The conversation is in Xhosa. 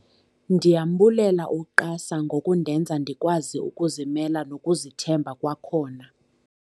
"Ndiyambulela u-QASA ngokundenza ndikwazi ukuzimela nokuzithemba kwakhona."